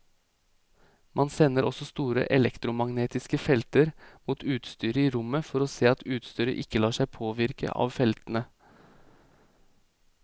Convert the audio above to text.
Man sender også store elektromagnetiske felter mot utstyret i rommet for å se at utstyret ikke lar seg påvirke av feltene.